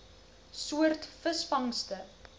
soort visvangste